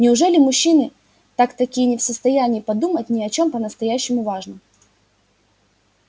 неужели мужчины так таки не в состоянии подумать ни о чём по-настоящему важном